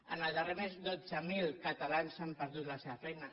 en el darrer mes dotze mil catalans han perdut la seva feina